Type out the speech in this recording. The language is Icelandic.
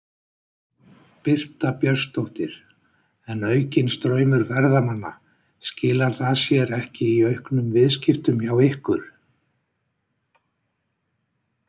Birta Björnsdóttir: En aukinn straumur ferðamanna, skilar það sér ekki í auknum viðskiptum hjá ykkur?